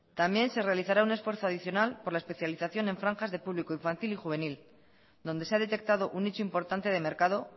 también se realizará un esfuerzo adicional por la especialización en franjas de público infantil y juvenil donde se ha detectado un nicho importante de mercado